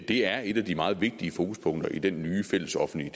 det er et af de meget vigtige fokuspunkter i den nye fællesoffentlige